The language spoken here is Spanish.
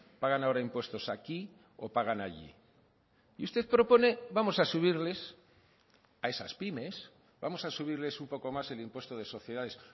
pagan ahora impuestos aquí o pagan allí y usted propone vamos a subirles a esas pymes vamos a subirles un poco más el impuesto de sociedades